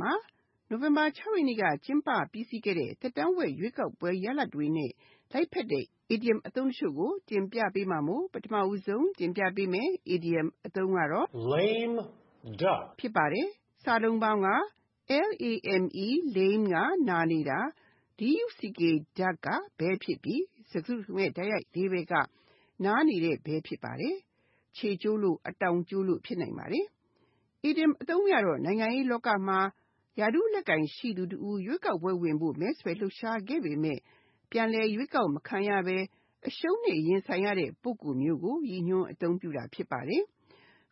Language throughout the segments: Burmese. မှာ နိုဝင်ဘာ (၆) ရက်နေ့က ကျင်းပခဲ့တဲ့ သက်တမ်းဝက် ရွေးကောက်ပွဲရလဒ်တွေနဲ့ လိုက်ဖက်တဲ့ အီဒီယံအသုံးတချို့ ဖြစ်တဲ့ Lame Duck, Golden Parachute နဲ့ Wake-up call တို့ကို တင်ပြထားပါတယ်။ (၁) Lame Duck Lame (နာနေတာ)၊ duck (ဘဲ) ဖြစ်ပြီး၊ စကားစုတခုလုံးရဲ့ တိုက်ရိုက်အဓိပ္ပါယ်က နာနေတဲ့ဘဲ ဖြစ်ပါတယ်။ ခြေကျိုးလို့ အတောင်ကျိုးလို့ ဖြစ်နိုင်ပါတယ်။ အီဒီယံအသုံးအနှုန်းအရတော့ နိုင်ငံရေးလောကမှာ ရာထူးလက်ကိုင်ရှိသူတဦး ရွေးကောက်ပွဲဝင်ဖို့ မဲဆွယ်လှုပ်ရှားခဲ့ပေမယ့် ပြန်လည်ရွေးကောက်မခံရဘဲ အရှုံးနဲ့ရင်ဆိုင်ရတဲ့ ပုဂ္ဂိုလ်မျိုးကို ရည်ညွှန်းအသုံးပြုတာ ဖြစ်ပါတယ်။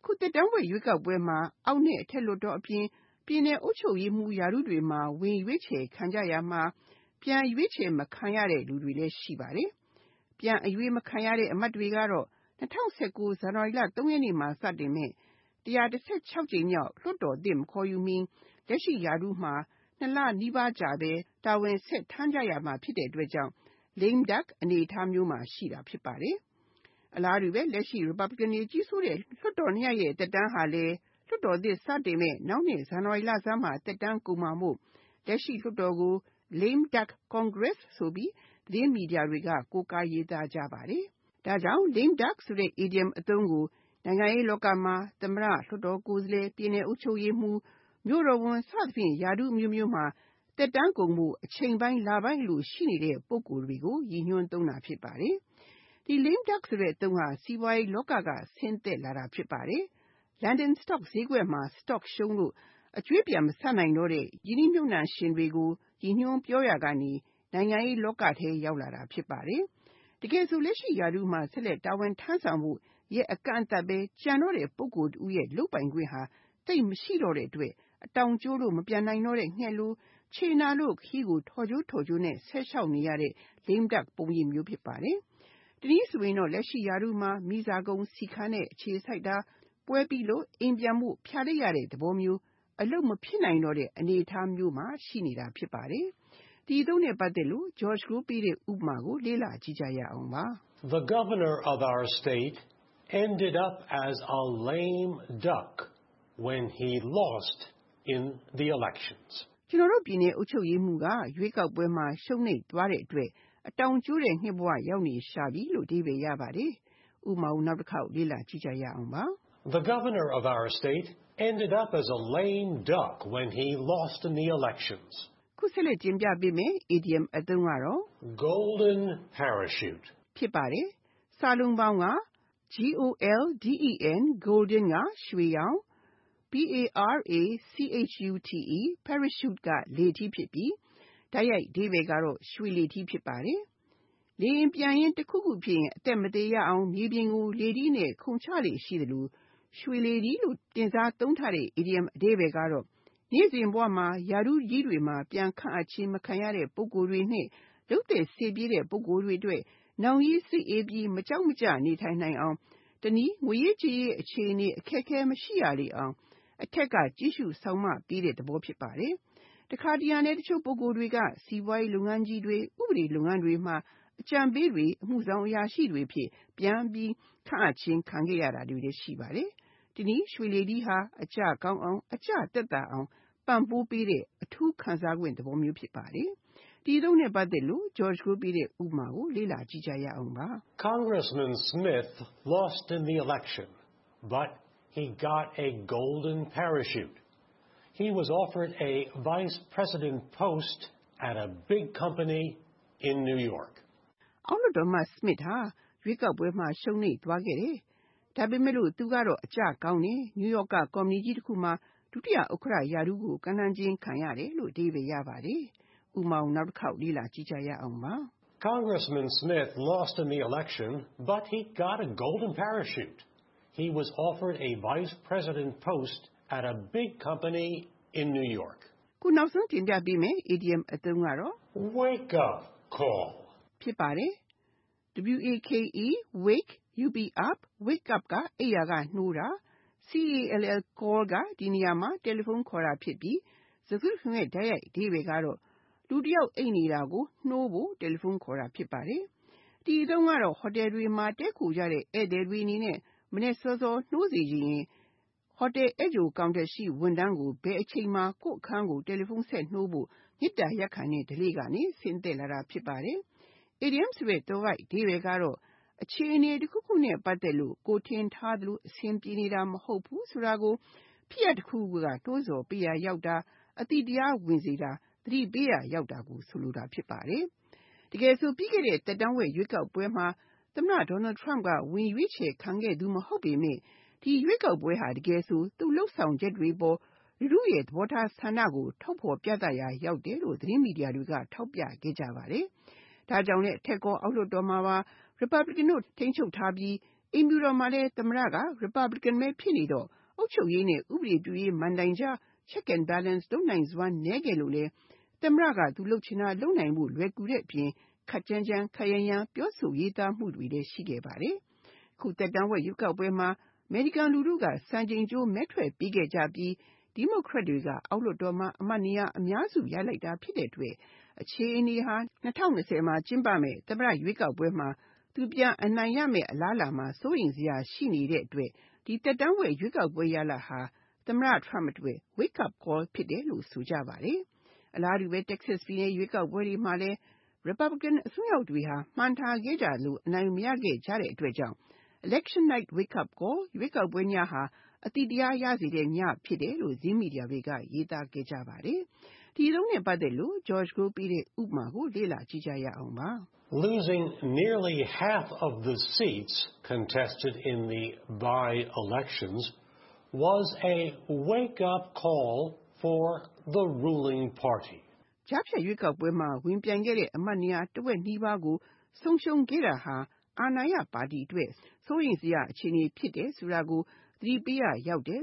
အခုသက်တမ်းဝက် ရွေးကောက်ပွဲမှာ အောက်နဲ့အထက်လွှတ်တော်အပြင် ပြည်နယ်အုပ်ချုပ်ရေးမှူး ရာထူးတွေမှာ ဝင်ရောက်ရွေးခံကြရာမှာ ပြန်ရွေးချယ်မခံရတဲ့သူတွေလည်း ရှိပါတယ်။ ပြန်အရွေးမခံရတဲ့အမတ်တွေကတော့၂၀၁၉ ဇန်နဝါရီလ (၃) ရက်မှာ စတင်မယ့် (၁၁၆) ကြိမ်မြောက် လွှတ်တော်သစ်မခေါ်ယူမီ လက်ရှိရာထူးမှာ (၂) လ နီးပါးကြာ တာဝန်ဆက်ထမ်းကြရမှာဖြစ်ပြီး Lame Duck အနေအထားမှာရှိနေတာ ဖြစ်ပါတယ်။ အလားတူပဲ လက်ရှိ Republican တွေကြီးစိုးနေတဲ့ လွှတ်တော်နှစ်ရပ်ရဲ့ သက်တမ်းဟာလည်း လွှတ်တော်သစ်စတင်မယ့် နောက်နှစ် ဇန်နဝါရီလဆန်းမှာ သက်တမ်းကုန်မှာမို့ လက်ရှိလွှတ်တော်ကို Lame Duck Congress ဆိုပြီး သတင်းမီဒီယာတွေမှာ ကိုးကားရေးသားကြပါတယ်။ ဒါ့ကြောင့် Lame duck ဆိုတဲ့ အီဒီယံအသုံးကို နိုင်ငံရေးလောကမှာ သမတ၊ လွှတ်တော်ကိုယ်စားလှယ်၊ ပြည်နယ်အုပ်ချုပ်ရေးမှူး မြို့တော်ဝန် စသဖြင့် ရာထူးအမျိုးမျိုးမှာ သက်တမ်းကုန်ဖို့ အချိန်ပိုင်း၊ လပိုင်းအလို ရှိနေတဲ့ ပုဂ္ဂိုလ်မျိုးကို ရည်ညွှန်းသုံးပါတယ်။ ဒီ Lame duck ဆိုတဲ့ အသုံးဟာ စီးပွားရေးလောက က ဆင်းသက်လာတယ်လို့ ဆိုကြပါတယ်။ London Stock ဈေးကွက်မှာ stocks တွေ ရှုံးလို့ အကြွေးပြန်မဆက်နိုင်တဲ့ ရင်းနှီးမြှုပ်နံှရှင်တွေကို ရည်ညွန်းပြောရာကနေ နိုင်ငံရေးလောကထဲ ရောက်လာတာ ဖြစ်ပါတယ်။ တကယ်ဆို လက်ရှိရာထူးမှာ ဆက်လက်ထမ်းဆောင်ဖို့ ရက်အကန့်အသတ်တော့တဲ့ ပုဂ္ဂိုလ်တဦးရဲ့ လုပ်ပိုင်ခွင့်ဟာ သိပ်မရှိတော့တဲ့အတွက် အတောင်ကျိုးလို့ မပျံနိုင်တော့တဲ့ ငှက်လို၊ ခြေနာလို့ ခရီးကို ထော့ကျိုးထော့ကျိုးနဲ့ ဆက်လျှောက်နေရတဲ့ Lame duck ပုံရိပ်မျိုး ဖြစ်နေတာပါ။ တနည်းဆိုရင် လက်ရှိရာထူးမှာ မီးစာကုန် ဆီခမ်းတဲ့ အခြေဆိုက်တာ၊ ပွဲပြီးလို့ အိမ်ပြန်ဖို့ ဖျာလိပ်ရတဲ့သဘောမျိုး၊ အလုပ်မဖြစ်နိုင်တော့တဲ့ အနေအထားမျိုးမှာ ရှိနေတာဖြစ်ပါတယ်။ ဥပမာ The Governor of our state ended up as a lame duck when he lost in the elections. ကျနော်တို့ ပြည်နယ်အုပ်ချုပ်ရေးမှူးကရွေးကောက်ပွဲမှာ ရှုံးနှိမ့်သွားတဲ့အတွက် အတောင်ကျိုးတဲ့ ငှက်ဘဝ ရောက်နေရှာပြီ။ (၂) Golden parachute Golden (ရွှေ)၊ Parachute (လေထီး) ဖြစ်ပြီး၊ တိုက်ရိုက်အဓိပ္ပါယ်က ရွှေလေထီး ဖြစ်ပါတယ်။ လေယာဉ်ပျံရင်း၊ တခုခုဖြစ်ရင် အသက်မသေရအောင် မြေပြင်ကိုလေထီးနဲ့ ခုန်ချလေ့ရှိသလို၊ ရွှေလေထီးလို့တင်စားသုံးတဲ့ ဒီ Idiom အဓိပ္ပါယ်က နေ့စဉ်ဘဝမှာ ရာထူးကြီးတွေမှာ ပြန်ခန့်အပ်ခြင်း မခံရတဲ့ ပုဂ္ဂိုလ်တွေ နဲ့ လုပ်သက်စေ့ပြီးတဲ့ ပုဂ္ဂိုလ်တွေအတွက် နောင်ရေးစိတ်အေးပြီး မကြောင့်မကြနေထိုင်နိုင်အောင် တနည်း ငွေရေးကြေးရေး အခြေအနေ အခက်အခဲ မရှိရလေအောင် အထက်က ကြည့်ရှုစောင့်မပေးတဲ့ သဘောဖြစ်ပါတယ်။။ တခါတရံလဲ တချို့ပုဂ္ဂိုလ်တွေက စီးပွားရေးလုပ်ငန်းကြီးတွေ၊ ဥပဒေ လုပ်ငန်းတွေမှာ အကြံပေးတွေ၊ အမှုဆောင်အရာရှိတွေအဖြစ် ပြန်ပြီးဆောင်ရွက်ခွင့် ရှိတာတွေလည်း ရှိပါတယ်။ တနည်း ရွှေလေထီးဟာ အကျကောင်းအောင်၊ အကျသက်သာအောင် ပံ့ပိုးပေးတဲ့ အထူးခံစားခွင့်သဘော ဖြစ်ပါတယ်။ ဥပမာ Congressman Smith lost in the election, but he got a golden parachute. He was offered a Vice President post at a big company in New York. အောက်လွှတ်တော်အမတ် Smith ဟာ ရွေးကောက်ပွဲမှာ ရှုံးသွားခဲ့တယ်။ ဒါပေမဲ့ သူကတော့ အကျကောင်းတယ်။ နယူးရော့က Company ကြီးတခုမှာ ဒုတိယဥက္ကဋ္ဌ ရာထူးကို ကမ်းလှမ်းခြင်းခံရတယ်။ (၃) Wake-up call Wake-up (အိပ်ရာကနေနိုးတာ)၊ call က ဒီနေရာမှာ တယ်လီဖုန်းခေါ်တာဖြစ်ပြီး ၊ စကားစုတခုလုံးရဲ့ တိုက်ရိုက်အဓိပ္ပါယ်ကတော့ လူတယောက် အိပ်နေတာကို နိုးဖို့ တယ်လီဖုန်းခေါ်တာ ဖြစ်ပါတယ်။ ဒီအသုံးကတော့ ဟိုတယ်တွေမှာ တည်းခိုကြတဲ့ ဧည့်သည်တွေအနေနဲ့ မနက်စောစောထ နိုးစေချင်ရင် ဟိုတယ်ဧည့်ကြို counter ရှိ ဝန်ထမ်းကို ဘယ်အချိန်မှာ ကိုယ့်အခန်းကို တယ်လီဖုန်းဆက်နိုးဖို့ မေတ္တာရပ်ခံတဲ့ဓလေ့ကနေ ဆင်းသက်လာတာ ဖြစ်ပါတယ်။ အီဒီယံသွယ်ဝိုက်အဓိပ္ပါယ်က အခြေအနေတခုခုနဲ့ ပတ်သက်လို့ ကိုယ်ထင်ထားသလို အဆင်ပြေနေတာ မဟုတ်ဘူးဆိုတာကို ဖြစ်ရပ်တခုခုက နိုးဆော်ပေးရာရောက်တာ၊ အသိတရားဝင်စေတာ၊ သတိပေးရာ ရောက်တာကို ဆိုလိုတာ ဖြစ်ပါတယ်။ တကယ်ဆို ပြီးခဲ့တဲ့သက်တမ်းဝက်ရွေးကောက်ပွဲမှာ သမ္မတ Donald Trump က ဝင်ရွေးခံခဲ့တာမဟုတ်ပေမယ့်၊ ဒီရွေးကောက်ပွဲဟာ သူ့ လုပ်ဆောင်ချက်တွေအပေါ်လူထုရဲ့သဘောထားဆန္ဒ ကို ထုတ်ဖေါ်ပြသတာဖြစ်တယ်လို့ သတင်းမီဒီယာတွေက ထောက်ပြခဲ့ကြပါတယ်။ ဒါ့ကြောင့်လဲ အထက်ကော အောက်လွှတ်တော်မှာပါ Republican တို့ထိန်းချုပ်ထားပြီး အိမ်ဖြူတော်မှာလည်း သမ္မတ က Republican ပဲ ဖြစ်နေတော့ အုပ်ချုပ်ရေးနဲ့ ဥပဒေပြုရေး မဏ္ဍိုင်ကြား check and balance လုပ်နိုင်စွမ်းနဲခဲ့လို့လည်း သမ္မတ က သူလုပ်ချင်တာလုပ်နိုင်ဖို့ လွယ်ကူခဲ့တဲ့အပြင်၊ ခပ်ကြမ်းကြမ်း ခပ်ရမ်းရမ်း ပြောဆိုရေးသားတာတွေလည်း ရှိခဲ့တာဖြစ်ပါတယ်။ အခုသက်တမ်းဝက်မှာ အမေရိကန်လူထုက စံချိန်ကျိုးမဲထွက်ပေးခဲ့ကြပြီး Democrat တွေက အောက်လွတ်တော်မှာ အမတ်နေရာအများစု ရလိုက်တာဖြစ်တဲ့အတွက်၊ ဒီ အခြေအနေဟာ ၂၀၂၀ မှာ ကျင်းပမယ့် သမ္မတ ရွေးကောက်ပွဲမျာ သူ ပြန်နိုင်မယ့် အလားအလာမှာ စိုးရိမ်စရာရှိနေတဲ့အတွက်၊ ဒီသက်တမ်းဝက် ရွေးကောက်ပွဲရလဒ်ဟာ သမ္မတ Trump အတွက် wake-up call ဖြစ်တယ်လို့ ဆိုကြပါတယ်။ အလားတူဘဲ Texas ပြည်နယ်ရွေးကောက်ပွဲတွေမှာလည်း Republican အစွန်းရောက်တွေက မှန်းထားခဲ့ကြသလို အနိုင်မရခဲ့ကြလို. “Election night wake-up call” ရွေးကောက်ပွဲညဟာ အသိတရားရစေတဲ့ည ဖြစ်တယ်လို့ သတင်းမီဒီယာတွေ ရေးသားခဲ့ကြပါတယ်။ ဥပမာ Losing nearly half of the seats contested in the by-elections was a wake-up call for the ruling party. ကြားဖြတ်ရွေးကောက်ပွဲမှာ ဝင်ပြိုင်ခဲ့တဲ့အမတ်နေရာ တဝက်နီးပါးကို ဆုံးရှုံးခဲ့တာဟာ အာဏာရပါတီအတွက် စိုးရိမ်စရာအခြေအနေ ဖြစ်တယ်ဆိုတာကို သတိပေးရာရောက်တယ်